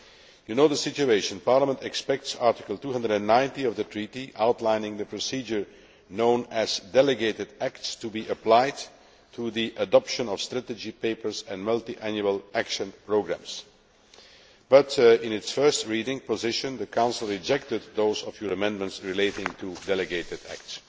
You know the situation. Parliament expects Article 290 of the Treaty, outlining the procedure known as delegated acts, to be applied to the adoption of strategy papers and multiannual action programmes. But in its first reading position the Council rejected those of your amendments relating to delegated acts.